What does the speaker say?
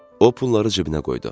O pulları cibinə qoydu.